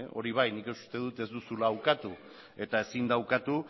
hori bai nik uste dut ez duzula ukatu eta ezin da ukatu